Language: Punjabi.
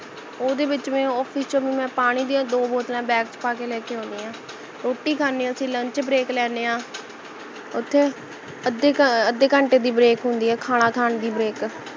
ਓਹਦੇ ਵਿੱਚ ਭੀ ਮੈਂ office ਚ ਭੀ ਮੈਂ ਪਾਣੀ ਦੀਆਂ ਦੋ ਬੋਤਲਾਂ bag ਚ ਪਾਕੇ ਲੈਕੇ ਆਉਣੀ ਹਾਂ ਰੋਟੀ ਖਾਂਦੇ ਹਾਂ ਅਸੀਂ lunch break ਲੈਣੇ ਹੈ ਓਥੇ ਅੱਧੇ ਘੰਟੇ ਦੀ break ਹੁੰਦੀ ਹੈ ਖਾਣਾ ਖਾਨ ਦੀ break